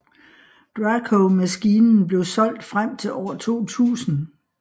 DraCo maskinen blev solgt frem til år 2000